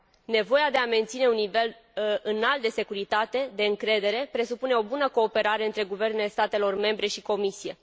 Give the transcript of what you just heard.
Nevoia de a menține un nivel înalt de securitate, de încredere, presupune o bună cooperare între guvernele statelor membre și Comisie.